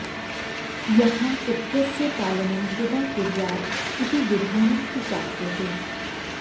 यथा पुत्रस्य पालनं पिता कुर्यात् इति विधानं तु प्राप्यते